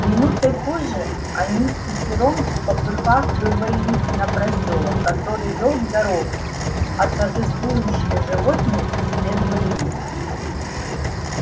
минутой позже они впятером впопыхах вывалились на просёлок который вёл к дороге а торжествующие животные преследовали их